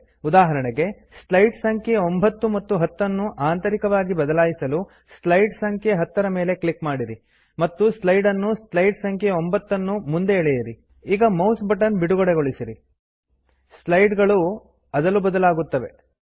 ಉದಾಹರಣೆಗೆ ಸ್ಲೈಡ್ ಸಂಖ್ಯೆ 9 ಮತ್ತು 10 ಅನ್ನು ಆಂತರಿಕವಾಗಿ ಬದಲಾಯಿಸಲು ಸ್ಲೈಡ್ ಸಂಖ್ಯೆ 10 ರ ಮೇಲೆ ಕ್ಲಿಕ್ ಮಾಡಿರಿ ಈಗ ಮೌಸ್ ಬಟನ್ ಬಿಡುಗಡೆಗೊಳಿಸಿರಿ ಸ್ಲೈಡ್ ಗಳು ಅದಲು ಬದಲಾಗುತ್ತವೆ160